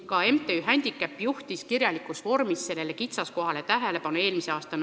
Ka MTÜ Händikäpp juhtis eelmise aasta novembris sellele kitsaskohale kirjalikus vormis tähelepanu.